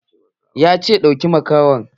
Ya ce "Ɗauki makahon"!